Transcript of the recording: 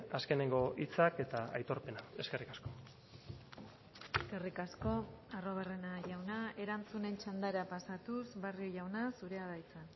azkeneko hitzak eta aitorpena eskerrik asko eskerrik asko arruabarrena jauna erantzunen txandara pasatuz barrio jauna zurea da hitza